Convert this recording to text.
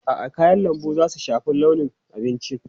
A'a, kayan lambu za su shafi launin abincin.